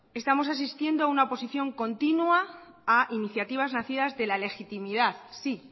estamos asistiendo a una oposición continua a iniciativas nacidas de la legitimidad sí